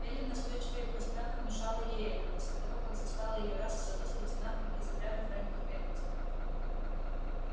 эллин настойчиво и пространно внушала ей это после того как застала её раз в саду с лейтенантом из отряда фрэнка кеннеди